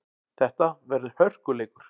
Þetta verður hörkuleikur!